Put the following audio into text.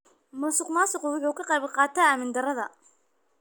Musuqmaasuqu waxa uu ka qayb qaataa amni darada.